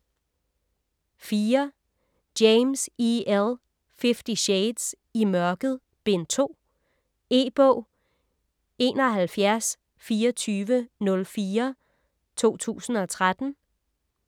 James, E. L.: Fifty shades: I mørket: Bind 2 E-bog 712404 2013.